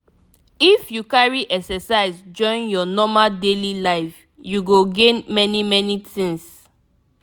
if you carry exercise join your normal daily life you go gain many many things.